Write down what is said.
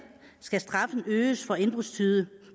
skal straffen øges for indbrudstyve